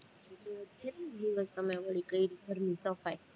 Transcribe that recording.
કેટલીક દિવસ કરી તમે વળી ઘરની સફાઈ